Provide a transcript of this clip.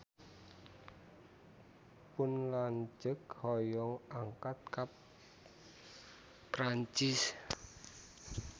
Pun lanceuk hoyong angkat ka Perancis